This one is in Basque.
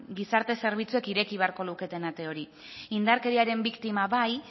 gizarte zerbitzuek ireki beharko luketen ate hori indarkeriaren biktima bai